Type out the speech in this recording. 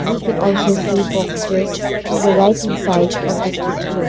We can also see boxes in the right-hand side of this picture.